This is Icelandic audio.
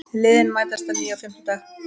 Liðin mætast að nýju á fimmtudag